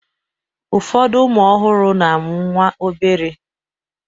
Ụfọdụ ụmụ ọhụrụ na-amụ nwa obere